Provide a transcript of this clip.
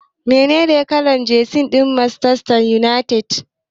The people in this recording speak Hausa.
Menene kalar jesi ta Manchester United?